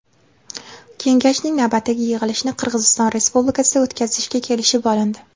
Kengashning navbatdagi yig‘ilishini Qirg‘iziston Respublikasida o‘tkazishga kelishib olindi.